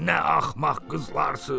Nə axmaq qızlarsız.